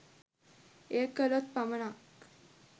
එය කළොත් පමණක්